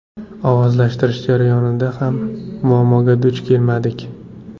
Ovozlashtirish jarayonida ham muammoga duch kelmadik.